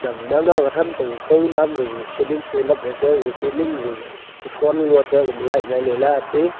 nanao watram pe ka gao nam pe kao ceiling gaga pe lap le tai gaga ceiling gaga ku tron ngo tega uma light ngai le le ga ti.